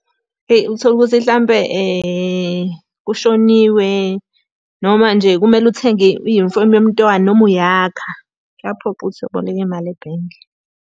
Eyi uthole ukuthi hlampe kushoniwe, noma nje kumele uthenge iyunifomu yomntwana noma uyakha. Kuyaphoqa ukuthi aboleke imali ebhenki.